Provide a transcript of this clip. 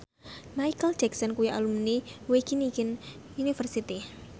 Micheal Jackson kuwi alumni Wageningen University